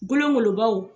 Gologolobaw